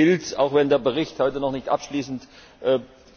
Auch hier gilt Auch wenn der Bericht heute noch nicht abschließend